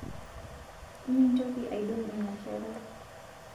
Mintoki aidong inia kerai